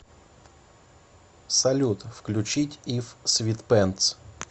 салют включить ив свитпэнтс